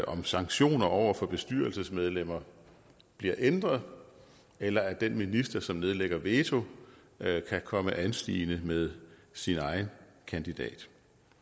om sanktioner over for bestyrelsesmedlemmer bliver ændret eller at den minister som nedlægger veto kan komme anstigende med sin egen kandidat